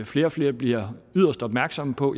flere og flere bliver yderst opmærksomme på